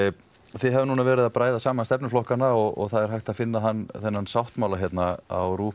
þið hafið núna verið að bræða saman stefnuflokkana og það er hægt að finna þennan sáttmála á